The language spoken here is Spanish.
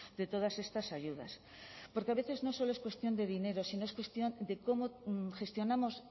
de todas estas ayudas porque a veces no solo es cuestión de dinero sino es cuestión de cómo gestionamos